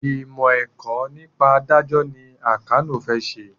Ìmọ̀ ẹ̀kọ́ nípa ìdájọ́ ni Àkànó fẹ́ ṣe